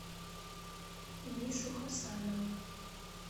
мишу хасанова